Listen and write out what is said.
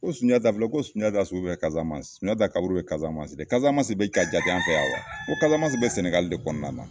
Ko sunjata filɛ, ko sunjata su bɛ Kasamansi, Sunjata kaburu bɛ Kasamasi de, Kasamasi bɛ ka jate an fɛ yan wa ? N ko kasamansi bɛ Sɛnɛgali de kɔnɔna na.